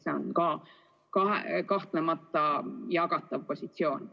See on kahtlemata jagatav positsioon.